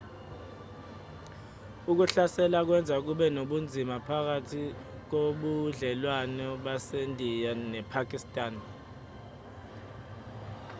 ukuhlasela kwenza kube nobunzima phakathi kobudlelwane basendiya nepakistan